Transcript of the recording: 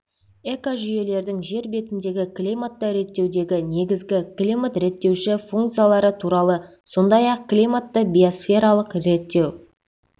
экожүйелердің жер бетіндегі климатты реттеудегі негізгі климат реттеуші функциялары туралы сондай-ақ климатты биосфералық реттеу